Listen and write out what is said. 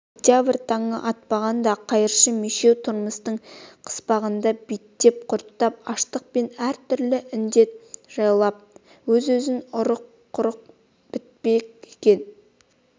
октябрь таңы атпағанда қайыршы мешеу тұрмыстың қыспағында биттеп-құрттап аштық пен әртүрлі індет жайлап өз-өзінен құрып бітпек екен